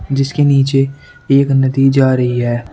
जिसके नीचे एक नदी जा रही है।